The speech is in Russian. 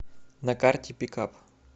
на карте пикап